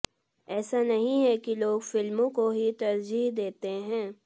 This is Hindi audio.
ऐसा नहीं है कि लोग फिल्मों को ही तरजीह देते हैं